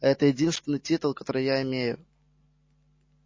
это единственный титул который я имею